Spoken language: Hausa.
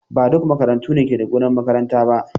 Ba duk makarantu ne ke da gonar makaranta ba.